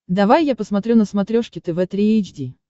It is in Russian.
давай я посмотрю на смотрешке тв три эйч ди